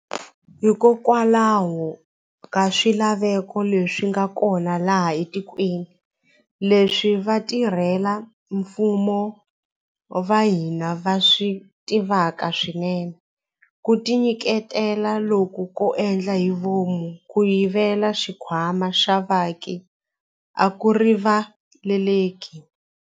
Hikokwalaho ka swilaveko leswi nga kona laha etikweni, leswi vatirhela mfumo va hina va swi tivaka swinene, ku tinyiketela loku ko endla hi vomu ko yivela xikhwama xa vaaki a ku riva leleki.